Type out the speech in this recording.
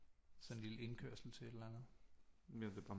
Sådan en lille indkørsel til et eller andet